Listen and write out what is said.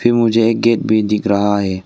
यह मुझे एक गेट भी दिख रहा है।